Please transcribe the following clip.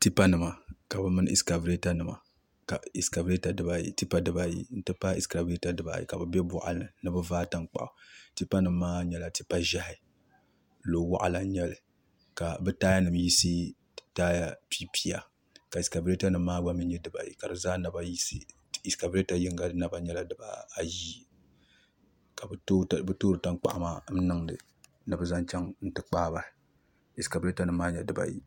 Tipa nima bi mini ɛskavɛta nima ɛskavɛta dibayi tipa dibayi n ti pahi ɛskavɛta bibaayi ka bi biɛ boɣali ni ni bi vaai tankpaɣu tipa nim maa nyɛla tipa ʒiɛhi lo waɣala n nyɛli ka bi taaya nim yisi taaya piipiya ka ɛskavɛta nim maa gba nyɛ dibayi ka bi zaa naba yisi ɛskavɛta nim maa gba nyɛla dibaayi ka bi toori tankpaɣu maa niŋdi ni bi zaŋ chɛŋ ti kpaa bahi ɛskavɛta nim mmaa nyɛla dibayi